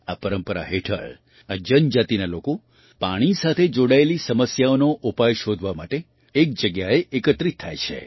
આ પરંપરા હેઠળ આ જનજાતિના લોકો પાણી સાથે જોડાયેલી સમસ્યાઓનો ઉપાય શોધવા માટે એક જગ્યાએ એકત્રિત થાય છે